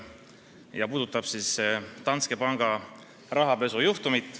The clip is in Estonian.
Arupärimine puudutab Danske Banki rahapesujuhtumit.